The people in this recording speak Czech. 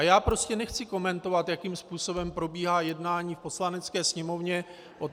A já prostě nechci komentovat, jakým způsobem probíhá jednání v Poslanecké sněmovně.